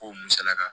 Ko musalaka